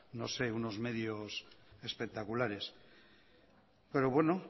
unos medios espectaculares